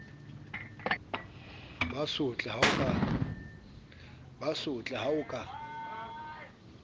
ba sotle ha o ka